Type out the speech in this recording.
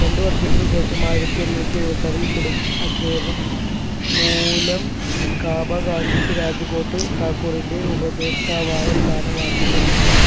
രണ്ടു വർഷത്തിന് ശേഷം ആയിരത്തി എണ്ണൂറ്റി എഴുപത്തി ആറിൽ കൊടും അദ്ദേഹം മൂലം കാബ ഗാന്ധിക്ക് രാജ്കോട്ട് താക്കൂറിൻറെ ഉപദേഷ്ടാവായ സ്ഥാനമാറ്റം ലഭിച്ചു